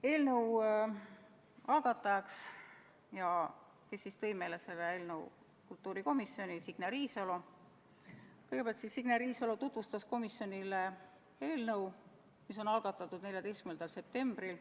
Eelnõu algataja esindajana tuli meile kultuurikomisjoni Signe Riisalo, kes kõigepealt tutvustas komisjonile eelnõu, mis on algatatud 14. septembril.